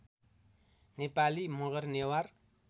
Nepali Magar Newar